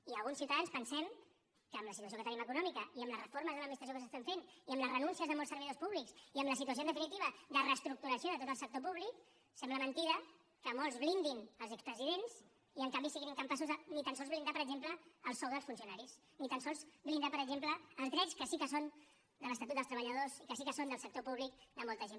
i alguns ciutadans pensem que amb la situació que tenim econòmica i amb les reformes de l’administració que s’estan fent i amb les renúncies de molts servidors públics i amb la situació en definitiva de reestructuració de tot el sector públic sembla mentida que molts blindin els expresidents i en canvi siguin incapaços de ni tan sols blindar per exemple el sou dels funcionaris ni tan sols blindar per exemple els drets que sí que són de l’estatut dels treballadors i que sí que són del sector públic de molta gent